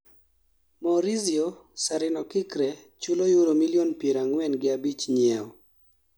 maurizio Sarrinokikre chulo euro milion pier ang'wen gi abich nyiewo